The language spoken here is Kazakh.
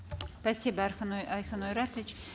спасибо айкын ойратович